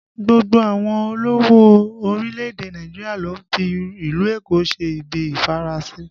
Gbogbo àwọn olówó orílẹ̀ èdè Nàìjíríà ló ń fi ìlú Èkó ṣe ibi ìfarasin